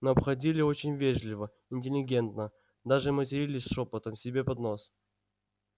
но обходили очень вежливо интеллигентно даже матерились шёпотом себе под нос